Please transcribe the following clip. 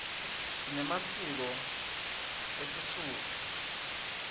sinemasiko esisotho